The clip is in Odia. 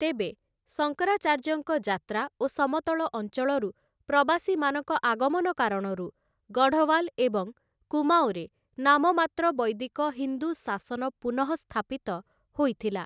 ତେବେ, ଶଙ୍କରାଚାର୍ଯ୍ୟଙ୍କ ଯାତ୍ରା ଓ ସମତଳ ଅଞ୍ଚଳରୁ ପ୍ରବାସୀମାନଙ୍କ ଆଗମନ କାରଣରୁ ଗଢ଼଼ୱାଲ୍‌ ଏବଂ କୁମାଓଁରେ ନାମମାତ୍ର ବୈଦିକ ହିନ୍ଦୁ ଶାସନ ପୁନଃସ୍ଥାପିତ ହୋଇଥିଲା ।